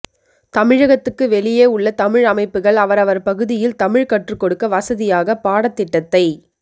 தமிழகத்துக்கு வெளியே உள்ள தமிழ் அமைப்புகள் அவரவர் பகுதியில் தமிழ் கற்றுக்கொடுக்க வசதியாக பாடத்திட்டத்தை